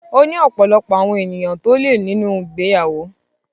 Ó ní ọ̀pọ̀lọpọ̀ àwọn ènìyàn tó lè nínú ìgbéyàwó.